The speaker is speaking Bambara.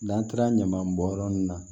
N'an taara ɲaman bɔn yɔrɔ min na